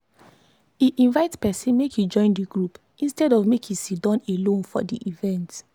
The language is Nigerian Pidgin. e invite person make e join the group instead of make e siddon alone for the event.